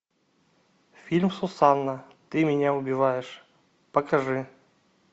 фильм сусанна ты меня убиваешь покажи